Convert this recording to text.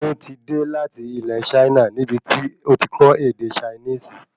Ṣeun tí dé láti ilẹ Chaina níbití ọtí kò ede Chinisi